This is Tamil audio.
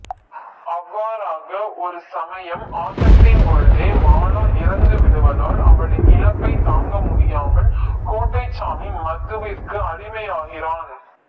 அவ்வாறாக ஒரு சமயம் ஆட்டத்தின் பொழுதே மாலா இறந்து விடுவதால் அவளின் இழப்பை தாங்காமல் கோட்டைசாமி மதுவிற்கு அடிமையாகிறான்